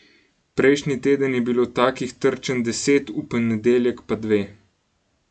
Prejšnji teden je bilo takih trčenj deset, v ponedeljek pa dve.